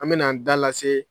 An bɛn'an da lase